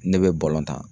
Ne bɛ bɔlɔn ta